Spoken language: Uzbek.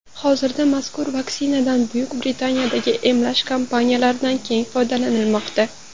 Hozirda mazkur vaksinadan Buyuk Britaniyadagi emlash kampaniyalarida keng foydalanilmoqda.